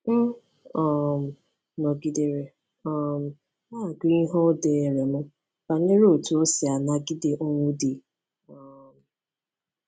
M um nọgidere um na-agụ ihe o deere m banyere otú e si anagide ọnwụ di. um